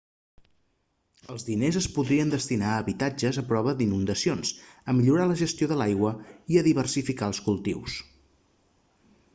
els diners es podrien destinar a habitatges a prova d'inundacions a millorar la gestió de l'aigua i a diversificar els cultius